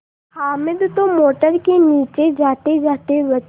हामिद तो मोटर के नीचे जातेजाते बचा